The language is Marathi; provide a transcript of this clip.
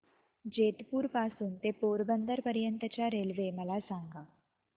जेतपुर पासून ते पोरबंदर पर्यंत च्या रेल्वे मला सांगा